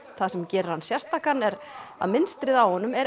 það sem gerir hann sérstakan er að mynstrið á honum er